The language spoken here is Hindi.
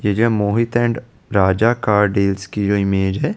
ये जो Mohit and Raja car dealers की मेज है ।